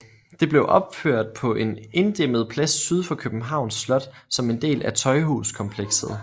Det blev opført på en inddæmmet plads syd for Københavns Slot som en del af Tøjhuskomplekset